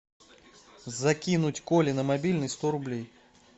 закинуть коле на мобильный сто рублей